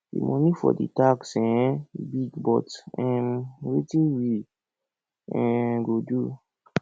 the money for the tax um big but um wetin we um go do